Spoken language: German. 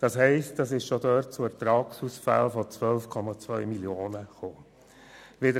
Somit kam es schon damals zu Ertragsausfällen von 12,2 Mio. Franken.